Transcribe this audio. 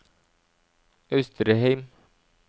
Austrheim